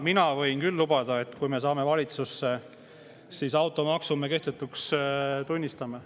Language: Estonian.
Mina võin küll lubada, et kui me saame valitsusse, siis me automaksu kehtetuks tunnistame.